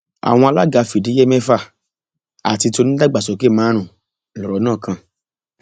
àwọn alága fìdíhe mẹfà àti ti onídàgbàsókè márùnún lọrọ náà kàn